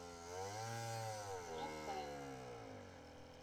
луфэн